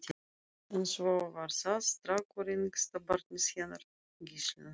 En svo var það strákurinn, yngsta barnið hennar Gíslínu.